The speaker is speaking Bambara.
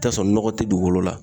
I bi t'a sɔrɔ nɔgɔ te dugukolo la.